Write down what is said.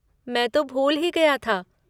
मैं तो भूल ही गया था।